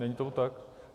Není tomu tak?